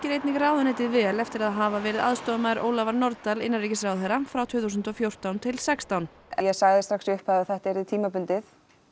einnig ráðuneytið vel eftir að hafa verið aðstoðarmaður Ólafar Nordal innanríkisráðherra frá tvö þúsund og fjórtán til sextán ég sagði strax í upphafi að þetta yrði tímabundið